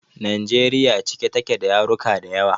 Najeriya cike take da yaruka dayawa